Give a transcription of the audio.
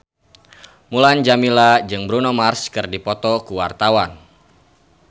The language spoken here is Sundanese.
Mulan Jameela jeung Bruno Mars keur dipoto ku wartawan